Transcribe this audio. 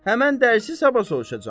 Həmin dərsi sabah soruşacağam.